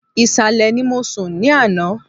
Ìsàlẹ̀ ni mo sùn ní àná